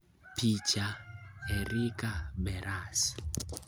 Picha: Erika Beras